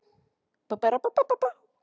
Hana, farðu inn fyrir, sittu við gluggann.